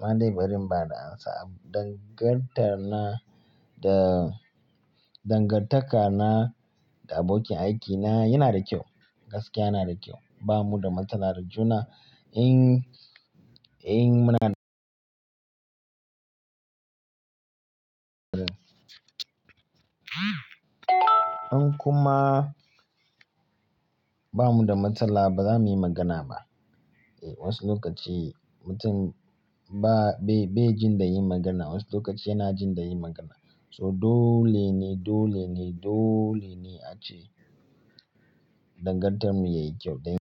Ma dai bari mba da amsa. Dangantar na da dangantaka na da abokin aikina yana da kyau, gaskiya yana da kyau. Ba mu da matsala, ta juna in, in muna in kuma ba mu da matsala ba za mu yi magana ba. E wasu lokaci mutum ba, bai, bai jin da yin magana, wasu lokaci yana jin da yin magana. To dole ne, dole ne, dole ne ace dangantar mu yayi kyau dan.